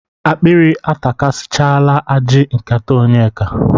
Akpịrị atakasịchala ajị nkịta Onyeka.